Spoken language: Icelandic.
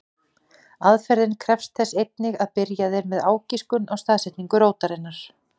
Aðferðin krefst þess einnig að byrjað er með ágiskun á staðsetningu rótarinnar.